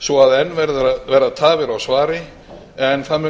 svo enn verða tafir á svari en það mun